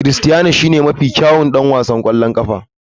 Critiano shine mafi kyawun ɗan wasan ƙwallon ƙafa na.